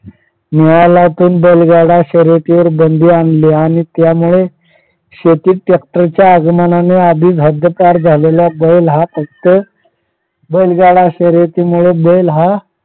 हिवाळ्यात बैलगाडा शर्यतीवर बंदी आणली आणि त्यामुळे शेती ट्रॅक्टर च्या आगमनाने आधीच हद्दपार झालेला बदल हा फक्त बैलगाडा शर्यती मुळे बैल हा